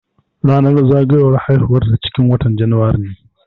Ranar zagowar haihuwar ta ciƙin watan januari ne.